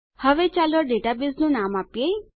હવે ચાલો ડેટાબેઝનું નામ આપીએ